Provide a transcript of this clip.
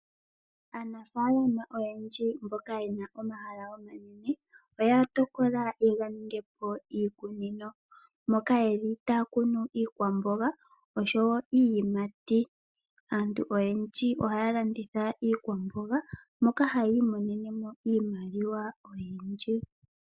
Aanafaalama oyendji mboka ye na omahala omanene, oya tokola ye ga ninge po iikunino, moka ye li taya kunu iikwamboga osho woo iiyimati. Aantu oyendji oha ya landitha iikwamboga, moka haya imonene mo iimaliwa oyindji.